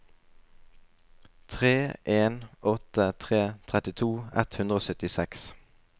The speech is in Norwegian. tre en åtte tre trettito ett hundre og syttiseks